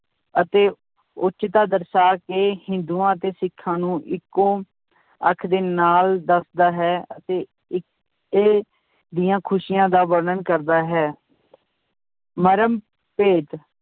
ਅਤੇ ਉਚਤਾ ਦਰਸਾ ਕੇ ਹਿੰਦੂਆਂ ਅਤੇ ਸਿੱਖਾਂ ਨੂੰ ਇੱਕੋ ਅੱਖ ਦੇ ਨਾਲ ਦੱਸਦਾ ਹੈ ਅਤੇ ਦੀਆਂ ਖ਼ੁਸ਼ੀਆਂ ਦਾ ਵਰਣਨ ਕਰਦਾ ਹੈ ਮਰਮ ਭੇਤ